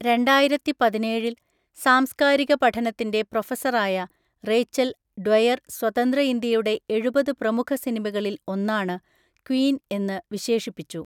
രണ്ടായിരത്തിപതിനേഴിൽ സാംസ്കാരികപഠനത്തിൻ്റെ പ്രൊഫസറായ Rachel Dwyer സ്വതന്ത്ര ഇന്ത്യയുടെ എഴുപത് പ്രമുഖസിനിമകളിൽ ഒന്നാണ് ക്വീൻ എന്ന് വിശേഷിപ്പിച്ചു.